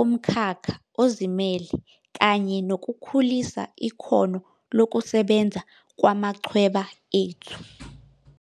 ukwehla kwesiminyaminya, ukwenza umsebenzi ngesikhathi esibekiwe kanye nokwenyuka kokuse tshenziswa kwezithuthi zikajantshi esikhundleni salezo ezihamba emgwaqeni.